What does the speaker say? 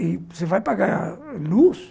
E você vai pagar luz?